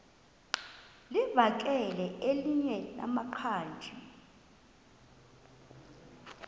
livakele elinye lamaqhaji